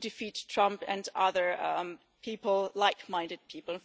defeat Trump and other like-minded people.